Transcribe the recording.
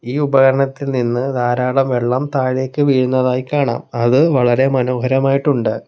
ഈ ഉപകരണത്തിൽ നിന്ന് ധാരാളം വെള്ളം താഴേക്ക് വീഴുന്നതായി കാണാം അത് വളരെ മനോഹരമായിട്ടുണ്ട്.